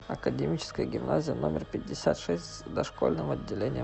академическая гимназия номер пятьдесят шесть с дошкольным отделением